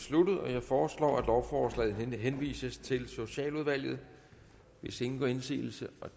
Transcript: sluttet jeg foreslår at lovforslaget henvises til socialudvalget hvis ingen gør indsigelse